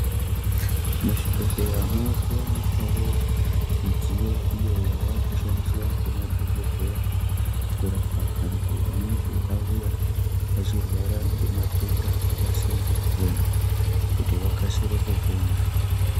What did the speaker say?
Muzvibhedhlera muri kuwanikwawo midziyo iyo yavakushandiswa nemadhokodheya kurapa vantu vanenge vauya vachirwara nematenda akasiyana siyana kuti vakasire kupona.